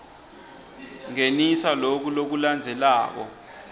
ngenisa loku lokulandzelako